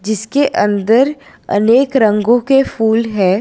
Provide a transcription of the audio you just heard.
जिसके अंदर अनेक रंगों के फूल है।